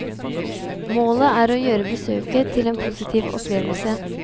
Målet er å gjøre besøket til en positiv opplevelse.